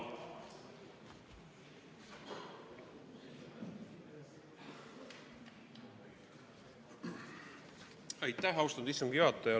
Aitäh, austatud istungi juhataja!